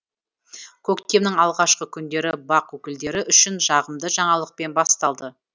көктемнің алғашқы күндері бақ өкілдері үшін жағымды жаңалықпен басталды